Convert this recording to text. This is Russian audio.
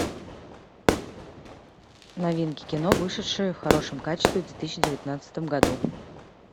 новинки кино вышедшие в хорошем качестве в две тысячи девятнадцатом году